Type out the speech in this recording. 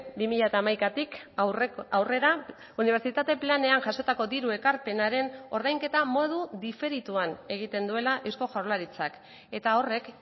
bi mila hamaikatik aurrera unibertsitate planean jasotako diru ekarpenaren ordainketa modu diferituan egiten duela eusko jaurlaritzak eta horrek